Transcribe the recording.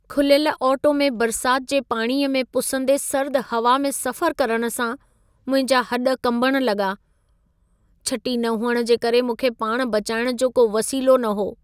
खुलियल ऑटो में बरसाति जे पाणीअ में पुसंदे सर्द हवा में सफ़रु करण सां मुंहिंजा हॾ कंबण लॻा। छटी न हुअण जे करे मूंखे पाण बचाइण जो को वसीलो न हो।